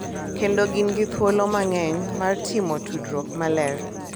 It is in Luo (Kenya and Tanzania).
Kendo gin gi thuolo mang’eny mar timo tudruok maler